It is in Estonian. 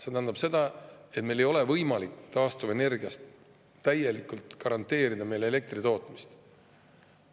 See tähendab seda, et meil ei ole võimalik garanteerida elektri tootmist täielikult taastuvenergiast.